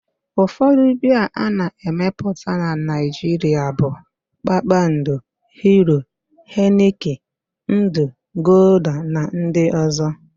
Ụfọdụ biaa a na-emepụta na Naịjiria bụ: Kpakpando, Hiro, Henịkin, Ndụ, Golda na ndị ọzọ